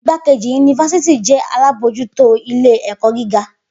Igbakeji-yunifásítì jẹ alabojuto ile-ẹkọ giga.